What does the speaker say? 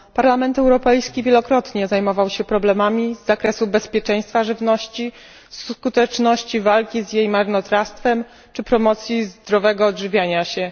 Parlament Europejski wielokrotnie zajmował się problemami z zakresu bezpieczeństwa żywności, skutecznością walki z jej marnotrawstwem czy promocją zdrowego odżywiania się.